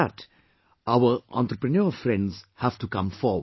For that, our entrepreneur friends have to come forward